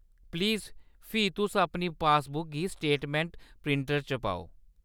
Please फ्ही तुस अपनी पासबुक गी स्टेटमैंट प्रिंटर च पाओ।